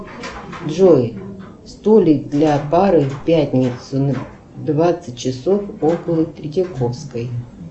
джой столик для пары в пятницу двадцать часов около третьяковской